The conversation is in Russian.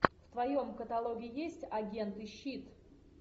в твоем каталоге есть агенты щит